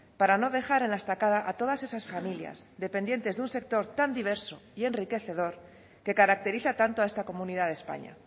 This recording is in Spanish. para no dejar en la estacada a todas esas familias dependientes de un sector tan diverso y enriquecedor que caracteriza tanto a esta comunidad de españa